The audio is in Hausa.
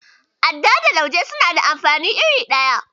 Adda da Lauje suna da amfani iri ɗaya.